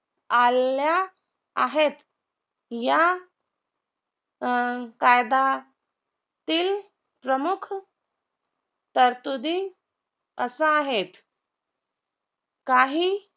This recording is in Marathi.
आल्या आहेत या अं कायदातील प्रमुख तरतुदी असा आहेत काही